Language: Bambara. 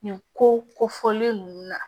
Nin ko ko fɔlen ninnu na